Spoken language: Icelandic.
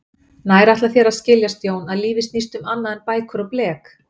Nær ætlar þér að skiljast Jón, að lífið snýst um annað en bækur og blek?